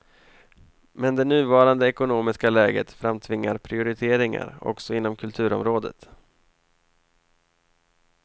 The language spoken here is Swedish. Men det nuvarande ekonomiska läget framtvingar prioriteringar också inom kulturområdet.